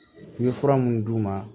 I ye fura munnu d'u ma